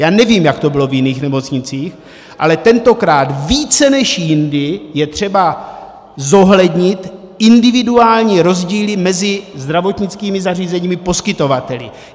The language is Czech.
Já nevím, jak to bylo v jiných nemocnicích, ale tentokrát více než jindy je třeba zohlednit individuální rozdíly mezi zdravotnickými zařízeními - poskytovateli.